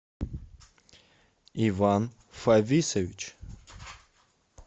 иван фависович